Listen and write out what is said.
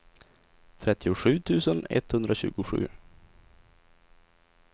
trettiosju tusen etthundratjugosju